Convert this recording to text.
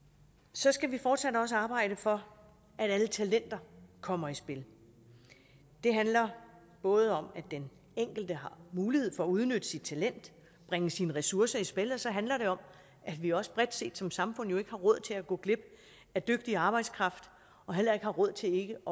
så skal vi fortsat også arbejde for at alle talenter kommer i spil det handler både om at den enkelte har mulighed for at udnytte sit talent bringe sine ressourcer i spil og så handler det om at vi også bredt set som samfund jo ikke har råd til at gå glip af dygtig arbejdskraft og heller ikke har råd til ikke